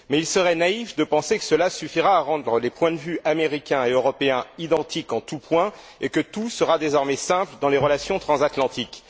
Mais il serait naïf de penser que cela suffira à rendre les points de vue américain et européen identiques en tous points, et que tout sera désormais simple dans les relations transatlantiques.